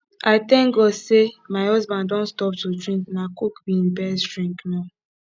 i thank god say my husband don stop to drink na coke be im best drink now